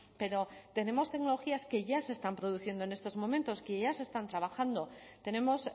pero tenemos tecnologías que ya se están produciendo en estos momentos que ya se están trabajando tenemos